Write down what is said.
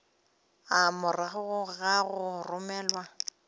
a morago ga go romelwa